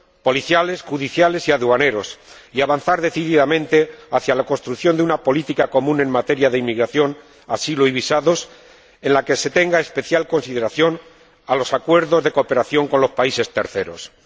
policiales, judiciales y aduaneros, y avanzar decididamente hacia la construcción de una política común en materia de inmigración, asilo y visados en la que se preste especial consideración a los acuerdos de cooperación con los terceros países.